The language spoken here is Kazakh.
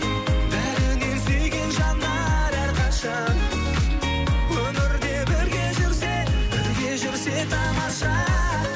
бәрінен сүйген жандар әрқашан өмірде бірге жүрсе бірге жүрсе тамаша